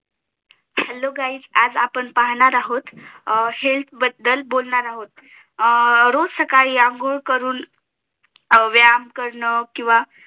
hello guys आज आपण पाहणार आहो अं हेल्थ Health बद्दल बोलणार आहो रोज सकाळी अंघोळ करून व्यायाम करण किंवा